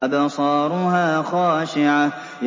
أَبْصَارُهَا خَاشِعَةٌ